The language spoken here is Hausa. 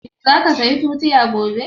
Za ka saya tutiya gobe?